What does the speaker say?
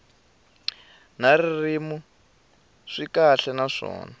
na ririmi swi kahle naswona